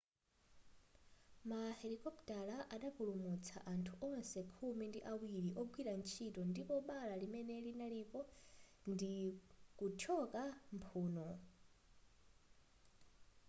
ma helokopitala anapulumutsa anthu onse khumi ndi awiri ogwira ntchito ndipo bala limene linalipo ndi kuthyoka mphuno